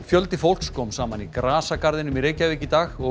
fjöldi fólks kom saman í grasagarðinum í Reykjavík í dag og